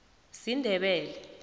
sindebele